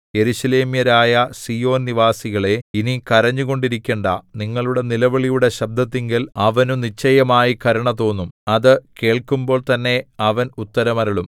യെരൂശലേമ്യരായ സീയോൻ നിവാസികളേ ഇനി കരഞ്ഞുകൊണ്ടിരിക്കണ്ടാ നിങ്ങളുടെ നിലവിളിയുടെ ശബ്ദത്തിങ്കൽ അവനു നിശ്ചയമായി കരുണ തോന്നും അത് കേൾക്കുമ്പോൾ തന്നെ അവൻ ഉത്തരം അരുളും